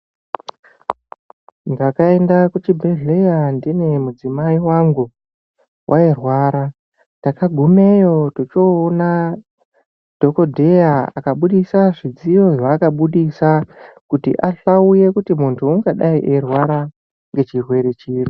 Ndakaenda kuchibhedhlera ndine mudzimai wangu, wairwara takagumeyo tochoona dhokodheya akabudisa zvidziyo zvaakabudisa kuti ahlauye kuti muntu ungadai eirwara ngechirwere chiri.